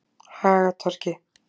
Hagatorgi